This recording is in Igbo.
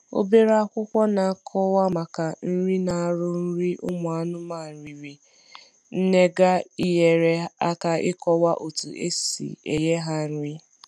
Obere akwụkwọ na akọwa na akọwa maka nri na arụ nri ụmụ anụmanụ riri nnega enyere aka ikọwa otu esi enye ha nri